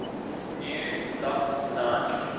new lock designs